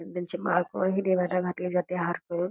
आणि त्यांची माळ करून हि देवाला घातली जाते हार करून.